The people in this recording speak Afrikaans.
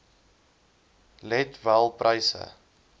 let wel pryse